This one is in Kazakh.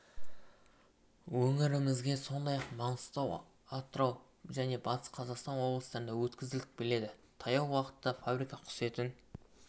өңірімізге сондай-ақ маңғыстау атырау және батыс қазақстан облыстарына өткізіліп келеді таяу уақытта фабрика құс етін